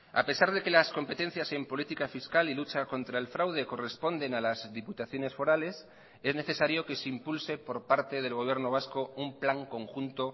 a pesar de que las competencias en política fiscal y lucha contra el fraude corresponden a las diputaciones forales es necesario que se impulse por parte del gobierno vasco un plan conjunto